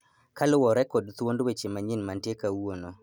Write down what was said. Kaluwore kod thuond weche manyien mantie kawuono